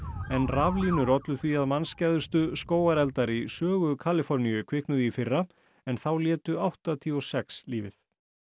en raflínur ollu því að mannskæðustu skógareldar í sögu Kaliforníu kviknuðu í fyrra en þá létu áttatíu og sex lífið